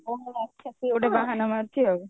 ଭଉଣୀର ଆଖ୍ୟା ସେ ଗୋଟେ ବାହାନା ମାରୁଛି ଆଉ